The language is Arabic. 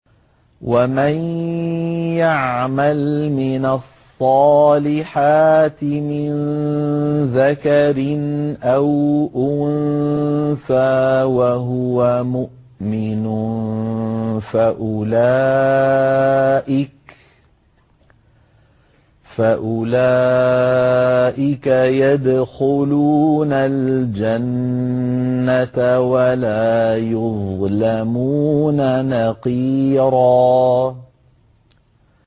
وَمَن يَعْمَلْ مِنَ الصَّالِحَاتِ مِن ذَكَرٍ أَوْ أُنثَىٰ وَهُوَ مُؤْمِنٌ فَأُولَٰئِكَ يَدْخُلُونَ الْجَنَّةَ وَلَا يُظْلَمُونَ نَقِيرًا